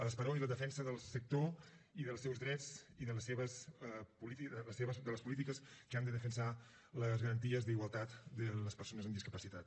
l’esperó i la defensa del sector i dels seus drets i de les polítiques que han de defensar les garanties d’igualtat de les persones amb discapacitat